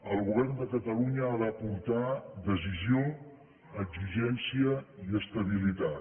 el govern de catalunya ha d’aportar decisió exigència i estabilitat